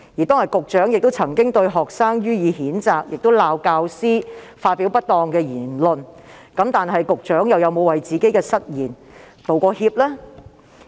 當天局長對學生予以譴責，亦指責教師發表不當言論。然而，局長又有否為自己的失言致歉呢？